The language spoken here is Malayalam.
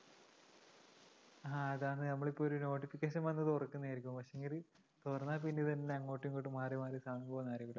ആ അതാണ് നമ്മളിപ്പോ ഒരു notification വന്ന് തുറക്കുന്നതായിരിക്കും പക്ഷേങ്കില് തുറന്നാപ്പിന്നെ ഇതുതന്നെ അങ്ങോട്ടുമിങ്ങോട്ടും മാറിമാറി സമയം പോവുന്നതറിയില്ല